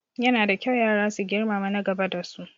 Yana da kyau yara su girmama na gaba da su